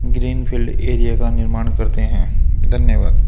Green field area का निर्माण करते हैं धन्यवाद।